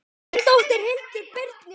Þín dóttir, Hildur Brynja.